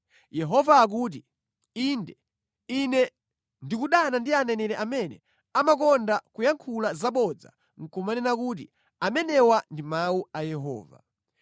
Yehova akuti, “Inde, Ine ndikudana ndi aneneri amene amakonda kuyankhula zabodza nʼkumanena kuti, ‘Amenewa ndi mawu a Yehova.’ ”